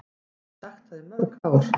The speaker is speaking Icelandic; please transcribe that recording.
Ég hef sagt það í mörg ár.